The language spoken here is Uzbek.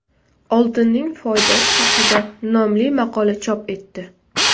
Oltinning foydasi haqida” nomli maqola chop etdi .